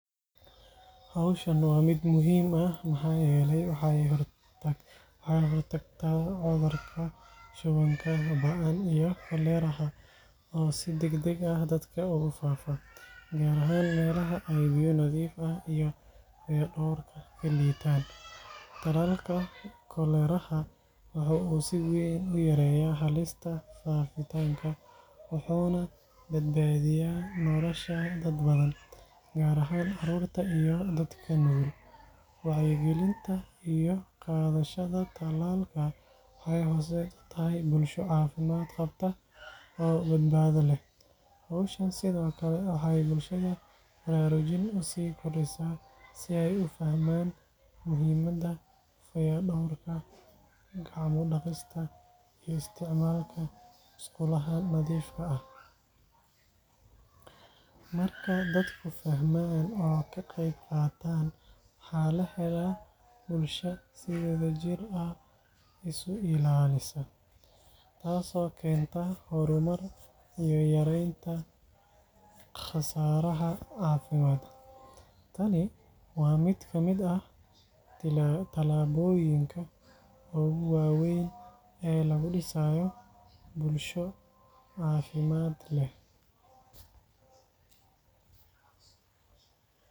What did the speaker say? Hawshan waa mid muhiim ah maxaa yeelay waxay ka hortagtaa cudurka shubanka ba’an ee koleraha oo si degdeg ah dadka ugu faafa, gaar ahaan meelaha ay biyo nadiif ah iyo fayadhowrka ka liitaan. Tallaalka koleraha waxa uu si weyn u yareeyaa halista faafitaanka, wuxuuna badbaadiyaa nolosha dad badan, gaar ahaan carruurta iyo dadka nugul. Wacyigelinta iyo qaadashada tallaalka waxay horseed u tahay bulsho caafimaad qabta oo badbaado leh. Hawshan sidoo kale waxay bulshada baraarujin u sii kordhisaa si ay u fahmaan muhiimada fayadhowrka, gacmo-dhaqista iyo isticmaalka musqulaha nadiifka ah. Marka dadku fahmaan oo ka qayb qaataan, waxa la helaa bulsho si wadajir ah isu ilaalisa, taas oo keenta horumar iyo yareynta khasaaraha caafimaad. Tani waa mid ka mid ah tallaabooyinka ugu waaweyn ee lagu dhisayo bulsho caafimaad leh.